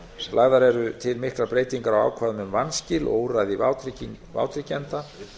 lagðar eru til miklar breytingar á ákvæðum um vanskil og úrræði vátryggjenda